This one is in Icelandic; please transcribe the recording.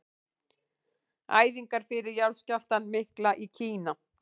Æfingar fyrir jarðskjálftann mikla í Kína.